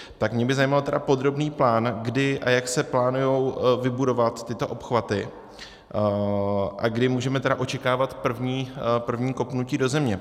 Tak mě by zajímal podrobný plán, kdy a jak se plánují vybudovat tyto obchvaty a kdy můžeme očekávat první kopnutí do země.